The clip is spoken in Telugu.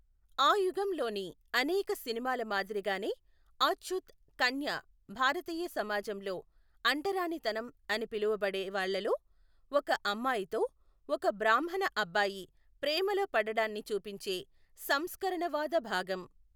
ఆ యుగంలోని అనేక సినిమాల మాదిరిగానే, అచ్చూత్ కన్య భారతీయ సమాజంలో అంటరానితనం అని పిలువబడే వాళ్లలో ఒక అమ్మాయితో ఒక బ్రాహ్మణ అబ్బాయి ప్రేమలో పడడాన్ని చూపించే సంస్కరణవాద భాగం.